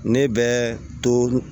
Ne bɛ to